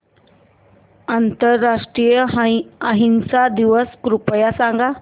आंतरराष्ट्रीय अहिंसा दिवस कृपया सांगा